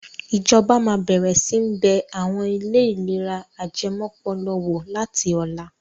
Ìjọba máa bẹ̀rẹ̀ sí ní bẹ àwọn ilé ìlera ajẹmọ́pọlọ wò láti ọ̀la.